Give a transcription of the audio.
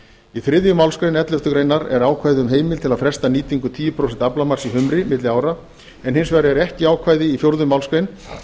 í þriðju málsgrein elleftu grein er ákvæði um heimild til að fresta tíu prósent aflamarks í humri milli ára en hins vegar er ekki ákvæði í fjórðu málsgrein